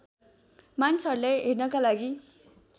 मानिसहरूलाई हेर्नका लागि